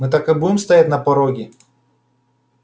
мы так и будем стоять на пороге